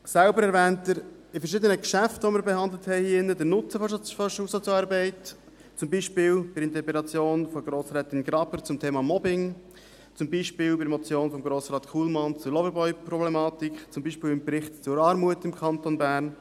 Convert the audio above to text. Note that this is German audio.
Selber erwähnt er in verschiedenen Geschäften, die wir hier in diesem Saal behandelt haben, den Nutzen der Schulsozialarbeit, zum Beispiel bei der Interpellation von Grossrätin Graber zum Thema Mobbing , zum Beispiel bei der Motion von Grossrat Kullmann zur Loverboy-Problematik , zum Beispiel im Bericht zur Armut im Kanton Bern.